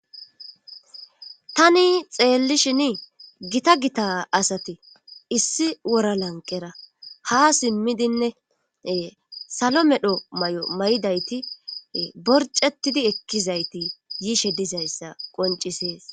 Tani xeellishin gita gita asate issi wora lanqera ha simmidinne salo medho may7o may7idayti borcetidi ekkizayti yiishe dizayssa qoncisees.